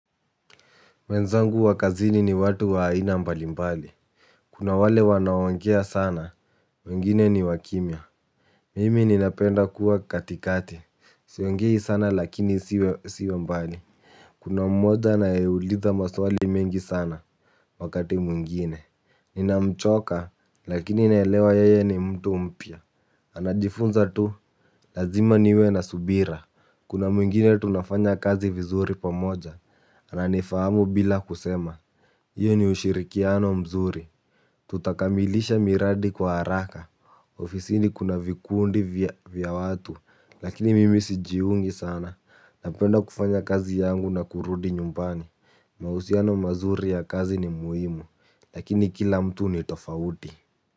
Wenzangu wa kazini ni watu wa aina mbali mbali. Kuna wale wanaongea sana, wengine ni wa kimya. Mimi ninapenda kuwa katikati, siongei sana lakini siwe mbali. Kuna mmoja anaeuliza maswali mengi sana, wakati mwingine. Ninamchoka, lakini naelewa yeye ni mtu mpya. Anajifunza tu, lazima niwe na subira. Kuna mwingine tunafanya kazi vizuri pamoja, ananifahamu bila kusema. Hiyo ni ushirikiano mzuri. Tutakamilisha miradi kwa haraka. Ofisini kuna vikundi vya watu. Lakini mimi sijiungi sana. Napenda kufanya kazi yangu na kurudi nyumbani. Mahusiano mazuri ya kazi ni muhimu. Lakini kila mtu ni tofauti.